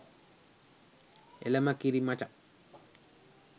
එලම කිරි මචං